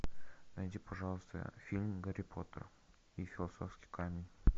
найди пожалуйста фильм гарри поттер и философский камень